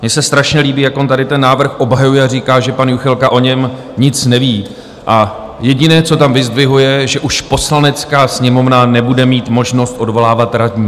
Mně se strašně líbí, jak on tady ten návrh obhajuje a říká, že pan Juchelka o něm nic neví, a jediné, co tam vyzdvihuje, že už Poslanecká sněmovna nebude mít možnost odvolávat radní.